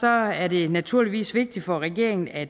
er det naturligvis vigtigt for regeringen at